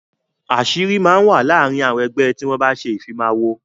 Àṣírí máa ń wà láàrin àwọn ẹgbẹ́ tí wọn bá ṣe ìfimawo.